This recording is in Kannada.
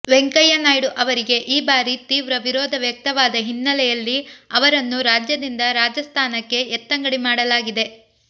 ವೆಂಕಯ್ಯ ನಾಯ್ಡು ಅವರಿಗೆ ಈ ಬಾರಿ ತೀವ್ರ ವಿರೋಧ ವ್ಯಕ್ತವಾದ ಹಿನ್ನೆಲೆಯಲ್ಲಿ ಅವರನ್ನು ರಾಜ್ಯದಿಂದ ರಾಜಸ್ಥಾನಕ್ಕೆ ಎತ್ತಂಗಡಿ ಮಾಡಲಾಗಿದೆ